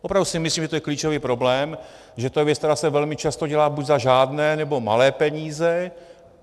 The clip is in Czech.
Opravdu si myslím, že to je klíčový problém, že to je věc, která se velmi často dělá buď za žádné, nebo malé peníze.